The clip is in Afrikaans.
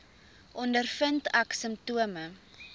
ondervind ek simptome